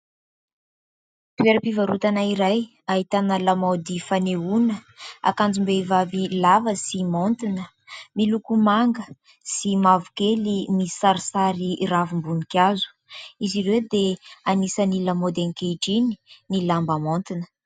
Toeram-pivarotana iray ahitana lamaody fanehoana, akanjom-behivavy lava sy maontina, miloko manga sy mavokely, misy sarisary ravim-boninkazo. Izy ireo dia anisan'ny lamaody ankehitriny ny lamba maontina.